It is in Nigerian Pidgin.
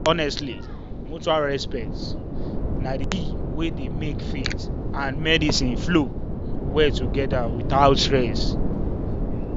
honestly mutual respect na the key wey dey make faith and medicine flow well together without stress.